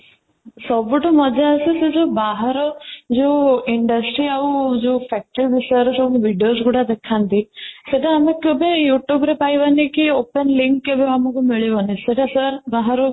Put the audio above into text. ସବୁଠୁ ମଜା ଆସେ ସେ ଯୋଉ ବାହାର ଯୋଉ industry ଆଉ ଯୋଉ factory ବିଷୟରେ ସବୁ videos ଗୁଡା ଦେଖାନ୍ତି ସେଇଟା ଆମେ କେବେ you tube ରେ ପାଇବାନି କି open link କେବେ ଆମକୁ ମିଳିବନି ସେଇଟା sir ବାହାରୁ